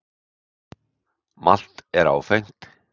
Malt er áfengt.